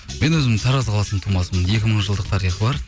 мен өзім тараз қаласының тумасымын екі мың жылдық тарихы бар